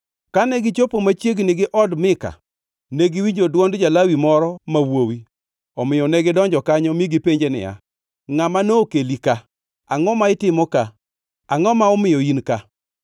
Kane gichopo machiegni gi od Mika, ne giwinjo dwond ja-Lawi moro ma wuowi; omiyo negidonjo kanyo mi gipenje niya, “Ngʼama nokeli ka? Angʼo ma itimo ka? Angʼo ma omiyo in ka?”